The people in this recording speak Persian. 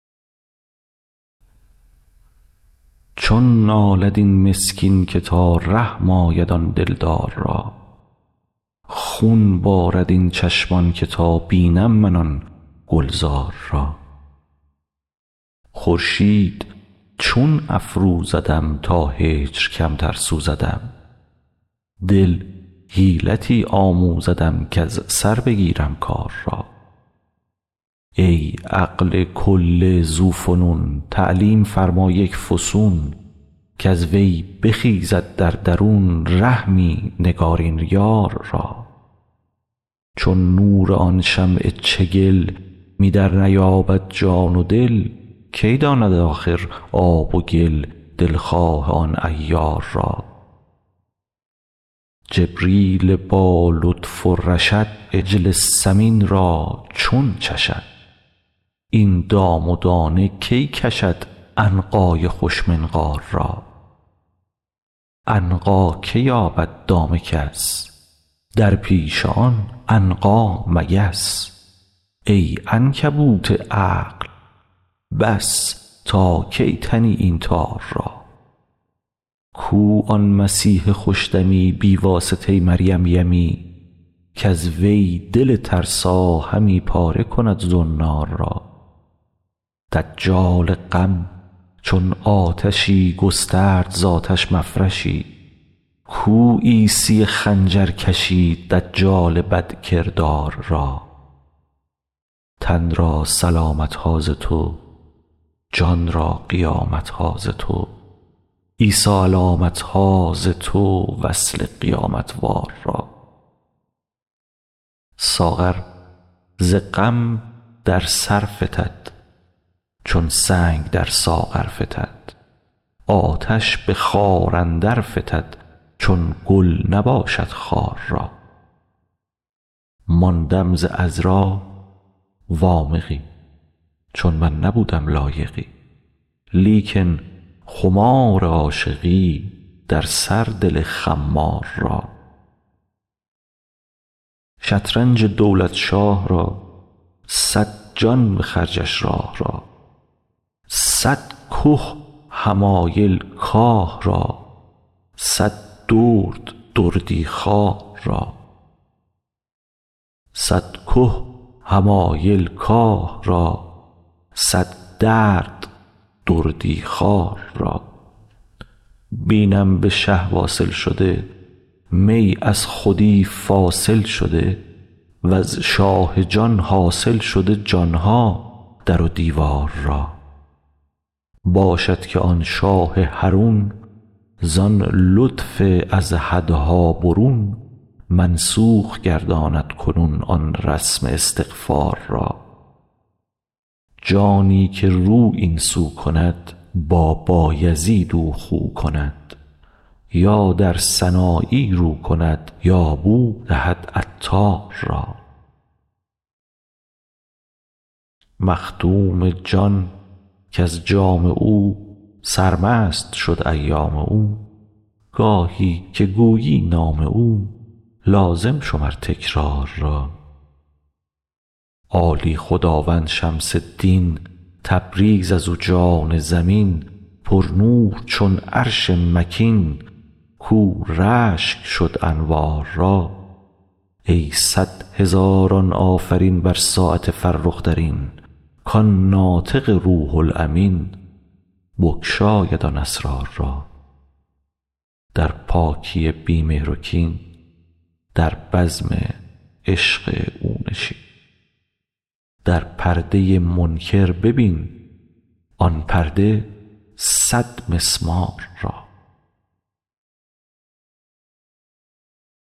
چون نالد این مسکین که تا رحم آید آن دلدار را خون بارد این چشمان که تا بینم من آن گلزار را خورشید چون افروزدم تا هجر کمتر سوزدم دل حیلتی آموزدم کز سر بگیرم کار را ای عقل کل ذوفنون تعلیم فرما یک فسون کز وی بخیزد در درون رحمی نگارین یار را چون نور آن شمع چگل می درنیابد جان و دل کی داند آخر آب و گل دلخواه آن عیار را جبریل با لطف و رشد عجل سمین را چون چشد این دام و دانه کی کشد عنقای خوش منقار را عنقا که یابد دام کس در پیش آن عنقا مگس ای عنکبوت عقل بس تا کی تنی این تار را کو آن مسیح خوش دمی بی واسطه مریم یمی کز وی دل ترسا همی پاره کند زنار را دجال غم چون آتشی گسترد ز آتش مفرشی کو عیسی خنجرکشی دجال بدکردار را تن را سلامت ها ز تو جان را قیامت ها ز تو عیسی علامت ها ز تو وصل قیامت وار را ساغر ز غم در سر فتد چون سنگ در ساغر فتد آتش به خار اندر فتد چون گل نباشد خار را ماندم ز عذرا وامقی چون من نبودم لایقی لیکن خمار عاشقی در سر دل خمار را شطرنج دولت شاه را صد جان به خرجش راه را صد که حمایل کاه را صد درد دردی خوار را بینم به شه واصل شده می از خودی فاصل شده وز شاه جان حاصل شده جان ها در و دیوار را باشد که آن شاه حرون زان لطف از حدها برون منسوخ گرداند کنون آن رسم استغفار را جانی که رو این سو کند با بایزید او خو کند یا در سنایی رو کند یا بو دهد عطار را مخدوم جان کز جام او سرمست شد ایام او گاهی که گویی نام او لازم شمر تکرار را عالی خداوند شمس دین تبریز از او جان زمین پرنور چون عرش مکین کاو رشک شد انوار را ای صد هزاران آفرین بر ساعت فرخ ترین کان ناطق روح الامین بگشاید آن اسرار را در پاکی بی مهر و کین در بزم عشق او نشین در پرده منکر ببین آن پرده صدمسمار را